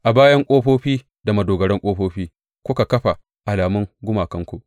A bayan ƙofofi da madogaran ƙofofi kuka kafa alamun gumakanku.